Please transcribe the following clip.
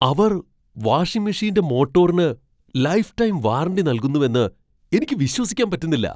അവർ washing മെഷീന്റെ മോട്ടോറിന് lifetime warranty നല്കുന്നുവെന്ന് എനിക്ക് വിശ്വസിക്കാൻ പറ്റുന്നില്ല.